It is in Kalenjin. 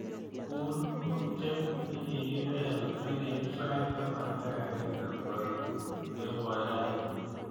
Guur ngokchet negigipel ageip sait taman ak agenge koi kemboi raini